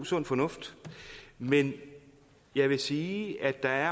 sund fornuft men jeg vil sige at der